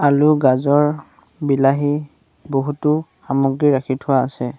আলু গাজৰ বিলাহী বহুতো সামগ্ৰী ৰাখি থোৱা আছে।